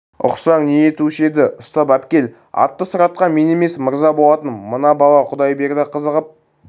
ұқсаң не етуші еді ұстап әпкел атты сұратқан мен емес мырза болатын мына бала құдайберді қызығып